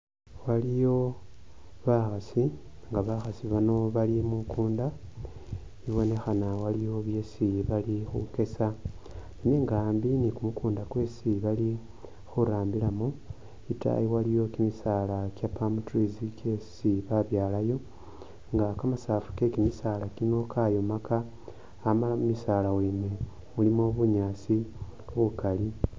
Waliyo bakhasi, nga bakhasi bano bali mukunda, ibonekhana waliyo byesi bali khukyesa, nenga ambi ni kumukunda kwesi bali khurambiramo itayi waliyo kyimisaala kya palm trees kyesi ba byalayo nga kamasafu kekyimisaala kino kayomaka amala mumisaala wene mulimo bunyaasi bukali.